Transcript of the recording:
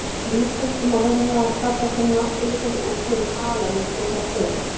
Í íslensku er venja að kalla þennan afturliggjandi útlim hala líkt og hjá kúm.